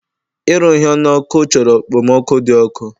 Ịrụ ihe n'ọkụ chọrọ okpomọkụ dị ọkụ